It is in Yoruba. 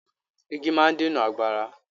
Igi máa ń dènà àgbàrá.